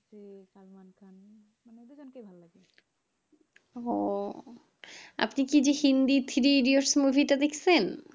উহ আপনি three Iditos movie টা দেখছেন?